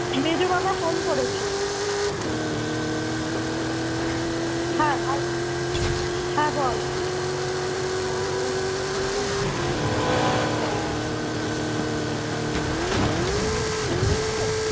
হ্যাঁ বলছি আমরা এখুন কথা বলছি তো একটু খানি বুজে বলছি বুঝি তো